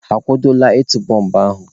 A kwadola ịtụ bọmbụ ahụ?